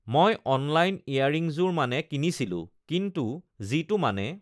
মই অনলাইন ইয়াৰিঙযোৰ মানে uhh কিনিছিলোঁ কিন্তু uhh যিটো মানে uhh